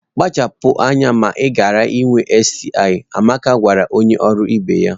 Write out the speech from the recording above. Kpachara anya ma ghara inwe STI! Amaka gwara onye ọrụ ibe ya